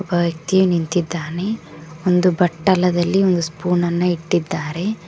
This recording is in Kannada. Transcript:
ಒಬ್ಬ ವ್ಯಕ್ತಿ ನಿಂತಿದ್ದಾನೆ ಒಂದು ಬಟ್ಟಲದಲ್ಲಿ ಒಂದು ಸ್ಪೂನನ್ನ ಇಟ್ಟಿದ್ದಾರೆ.